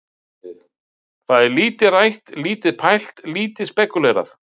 Það er lítið rætt, lítið pælt, lítið spekúlerað.